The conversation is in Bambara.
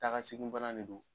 Taa ka segin bana de don.